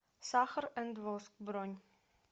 сахар энд воск бронь